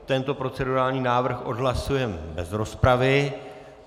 Tento procedurální návrh odhlasujeme bez rozpravy.